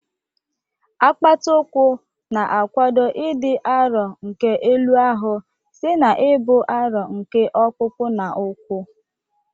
Apata ụkwụ na-akwado ịdị arọ nke elu ahụ site n'ibu arọ nke ọkpụkpụ na ụkwụ.